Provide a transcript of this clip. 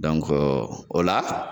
o la